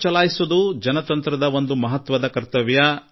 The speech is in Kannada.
ನಿಜ ಮತದಾನ ಮಾಡುವುದು ಪ್ರಜಾಪ್ರಭುತ್ವದ ಒಂದು ಮಹತ್ವಪೂರ್ಣ ಕರ್ತವ್ಯ